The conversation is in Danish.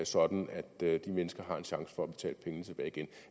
sådan at de mennesker har en chance for at betale pengene tilbage igen